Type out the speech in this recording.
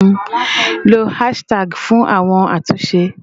Lo hashtags fún àwọn àtúnṣe